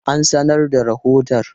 An sanar da rahoton?